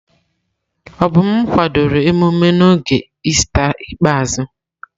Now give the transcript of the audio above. Obum kwadoro emume n'oge Ista ikpeazụ.